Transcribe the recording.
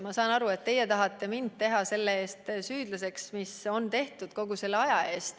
Ma saan aru, et te tahate mind teha süüdlaseks selle eest, mis on tehtud kogu selle aja jooksul.